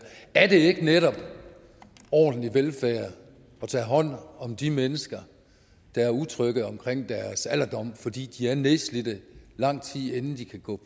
er det ikke netop ordentlig velfærd at tage hånd om de mennesker der er utrygge omkring deres alderdom fordi de er nedslidte lang tid inden de kan gå